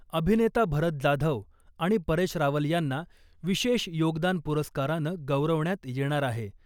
अभिनेता भरत जाधव आणि परेश रावल यांना , विशेष योगदान पुरस्कारानं गौरवण्यात येणार आहे .